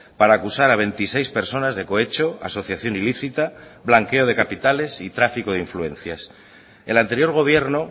para acusar a veintiséis personas de cohecho asociación ilícita blanqueo de capitales y tráfico de influencias el anterior gobierno